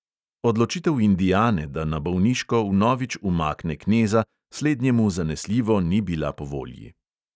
Odločitev indiane, da na bolniško vnovič umakne kneza, slednjemu zanesljivo ni bila po volji.